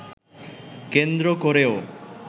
কেন্দ্র করেও